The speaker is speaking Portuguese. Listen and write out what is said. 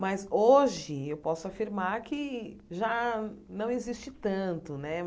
Mas hoje eu posso afirmar que já não existe tanto, né?